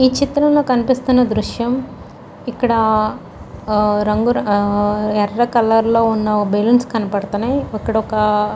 ఈ చిత్రంలో కనిపిస్తున్న దృశ్యం ఇక్కడ ఎర్ర కలర్ లో ఉన్న బెలూన్స్ కనబడుతున్నాయి. ఇక్కడ ఒక--